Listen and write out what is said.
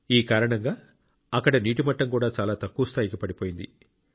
ఈ కారణంగా అక్కడ నీటి మట్టం కూడా చాలా తక్కువ స్థాయికి పడిపోయింది